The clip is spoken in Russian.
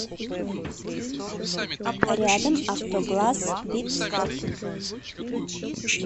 рядом автогласс битстоп